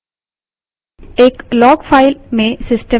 slides पर वापस चलते हैं